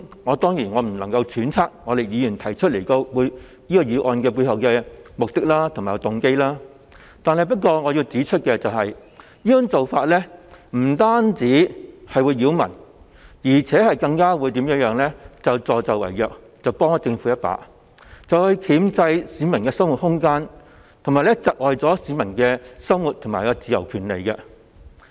我當然不能揣測議員提出這項決議案的背後目的和動機，但我要指出，這做法不僅擾民，更是助紂為虐，幫政府一把箝制市民的生活自由，以及剝奪市民生活上的權利。